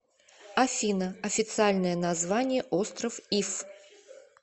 афина официальное название остров иф